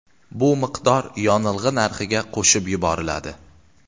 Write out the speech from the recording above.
Bu miqdor yonilg‘i narxiga qo‘shib yuboriladi.